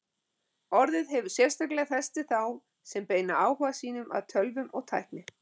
Orðið hefur sérstaklega fest við þá sem beina áhuga sínum að tölvum og tækni.